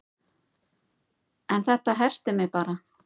En þetta herti mig bara